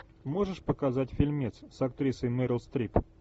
можешь показать фильмец с актрисой мерил стрип